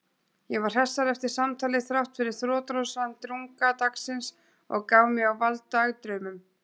Ég var hressari eftir samtalið þráttfyrir þrotlausan drunga dagsins og gaf mig á vald dagdraumum.